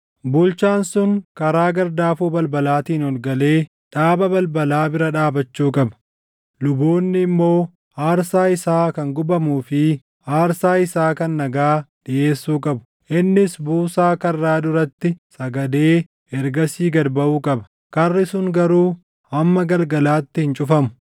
Bulchaan sun karaa gardaafoo balbalaatiin ol galee dhaaba balbalaa bira dhaabachuu qaba. Luboonni immoo aarsaa isaa kan gubamuu fi aarsaa isaa kan nagaa dhiʼeessuu qabu. Innis buusaa karraa duratti sagadee ergasii gad baʼuu qaba; karri sun garuu hamma galgalaatti hin cufamu.